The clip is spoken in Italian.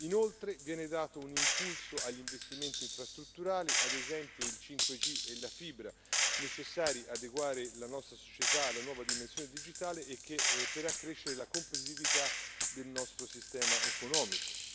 Inoltre, viene dato un impulso agli investimenti infrastrutturali, ad esempio il 5G e la fibra, necessari per adeguare la nostra società alla nuova dimensione digitale e per accrescere la competitività del nostro sistema economico.